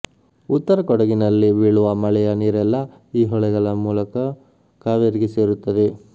ಉತ್ತರ ಕೊಡಗಿನಲ್ಲಿ ಬೀಳುವ ಮಳೆಯ ನೀರೆಲ್ಲಾ ಈ ಹೊಳೆಗಳ ಮೂಲಕ ಕಾವೇರಿಗೆ ಸೇರುತ್ತದೆ